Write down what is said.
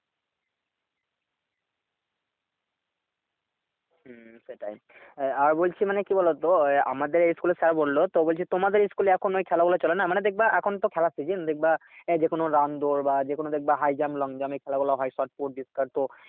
হম সেটাই আহ বলছি মানে কি বলতো আহ আমাদের এই school এর sir বললো তো বলছি তোমাদের school এ এখন ওই খেলা গুলো চলে না? মানে দেখবে এখন তো খেলার season দেখবে আহ যেকোন run দৌড় বা যেকোন দেখবে high jump long jump এ খেলা গুলো হয় shot put discus তো